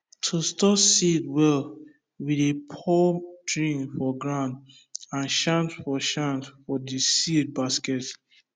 to store seed well we dey pour drink for ground and chant for chant for the seed basket